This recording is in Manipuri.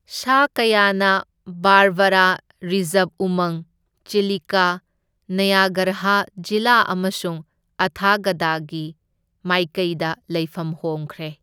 ꯁꯥ ꯀꯌꯥꯅ ꯕꯥꯔꯕꯔꯥ ꯔꯤꯖꯔꯚ ꯎꯃꯪ, ꯆꯤꯂꯤꯀ, ꯅꯌꯒꯔꯍ ꯖꯤꯂꯥ ꯑꯃꯁꯨꯡ ꯑꯊꯥꯒꯗꯀꯤ ꯃꯥꯏꯀꯩꯗ ꯂꯩꯐꯝ ꯍꯣꯡꯈ꯭ꯔꯦ꯫